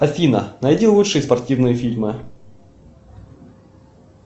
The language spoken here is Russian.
афина найди лучшие спортивные фильмы